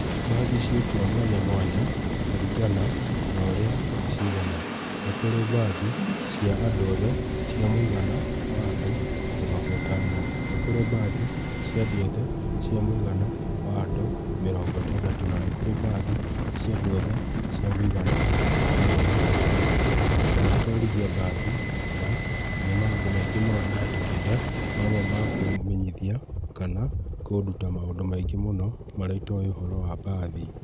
Mbathi ciĩkuo mwanya mwanya, kũringana na ũrĩa ciigana. Nĩkũrĩ mbathi cia andũ othe, cia mũigana wa andũ mĩrongo ĩtano, nĩkũrĩ mbathi cia andũ othe, cia mũigana wa andũ mĩrongo ĩtandatũ na nĩkurĩ mbathi cia andũ othe cia mũigana wa mĩrongo mũgwanja. Ndanatwarithia mbathi, na nĩ maũndũ maingĩ mũno ndahĩtũkĩire, mamwe ma kũmenyithia, kana kũnduta maũndũ maingĩ mũno marĩa itoĩ ũhoro wa mbathi.